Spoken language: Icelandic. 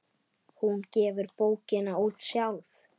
Hún gefur bókina út sjálf.